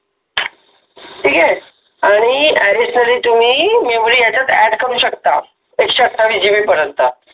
ठिक आहे आणी Additionally तुम्हि याच्यात MemoryAdd करु शकता एकशे अठ्ठाविस GB पर्यंत